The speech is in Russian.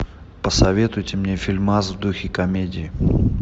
посоветуйте мне фильмас в духе комедии